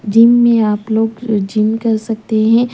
Gym में आप लोग अ जिम कर सकते हैं।